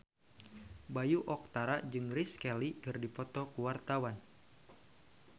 Bayu Octara jeung Grace Kelly keur dipoto ku wartawan